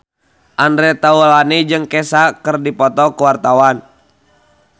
Andre Taulany jeung Kesha keur dipoto ku wartawan